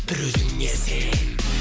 бір өзіңе сен